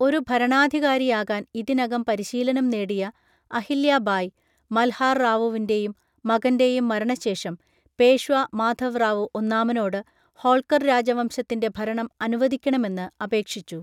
ഒരു ഭരണാധികാരിയാകാൻ ഇതിനകം പരിശീലനം നേടിയ അഹില്യ ബായി, മൽഹാർ റാവുവിൻ്റെയും മകൻ്റെയും മരണശേഷം പേഷ്വാ മാധവ് റാവു ഒന്നാമനോട് ഹോൾക്കർ രാജവംശത്തിൻ്റെ ഭരണം അനുവദിക്കണമെന്ന് അപേക്ഷിച്ചു.